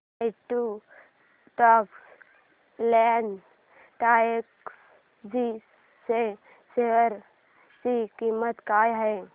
quant tax plan direct G च्या share ची किंमत काय आहे